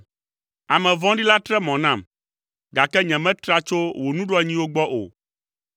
Ame vɔ̃ɖi la tre mɔ nam, gake nyemetra tso wò nuɖoanyiwo gbɔ o.